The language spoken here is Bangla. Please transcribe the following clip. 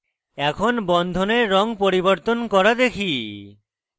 এখন বন্ধনের রঙ পরিবর্তন করা দেখি